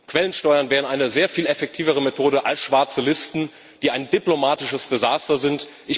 Quellensteuern wären eine sehr viel effektivere Methode als schwarze Listen, die ein diplomatisches Desaster sind.